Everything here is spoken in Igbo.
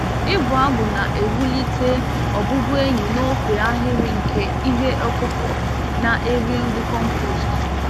Ịbụ abụ na-ewulite ọbụbụenyi n'ofe ahịrị nke ihe ọkụkụ na-eri nri compost.